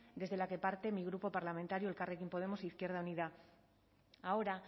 desde la que parte de mi grupo parlamentario elkarrekin podemos izquierda unida ahora